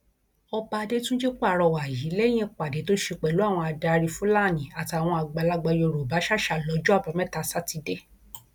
ọba adétúnjì pàrọwà yìí lẹyìn ìpàdé tó ṣe pẹlú àwọn adarí fúlání àtàwọn àgbàlagbà yorùbá ṣàṣà lọjọ àbámẹta sátidé